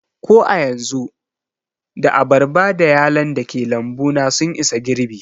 Ko a yanzu, da abarba da yalon dake lambu na sun isa girɓi